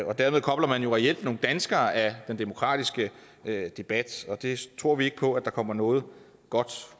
og derved kobler man jo reelt nogle danskere af den demokratiske debat og det tror vi ikke på der kommer noget godt